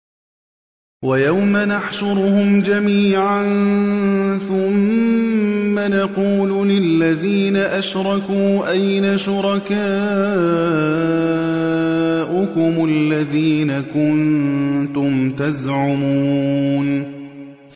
وَيَوْمَ نَحْشُرُهُمْ جَمِيعًا ثُمَّ نَقُولُ لِلَّذِينَ أَشْرَكُوا أَيْنَ شُرَكَاؤُكُمُ الَّذِينَ كُنتُمْ تَزْعُمُونَ